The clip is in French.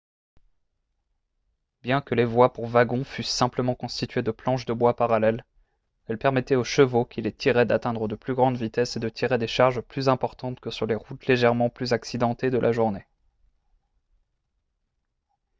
bien que les voies pour wagons fussent simplement constituées de planches de bois parallèles elles permettaient aux chevaux qui les tiraient d'atteindre de plus grandes vitesses et de tirer des charges plus importantes que sur les routes légèrement plus accidentées de la journée